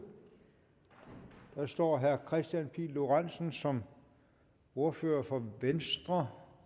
der står at herre kristian pihl lorentzen som ordfører for venstre